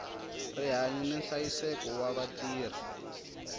rihanyu ni nhlayiseko wa vatirhi